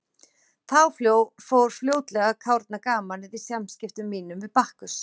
Þá fór fljótlega að kárna gamanið í samskiptum mínum við Bakkus.